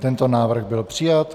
Tento návrh byl přijat.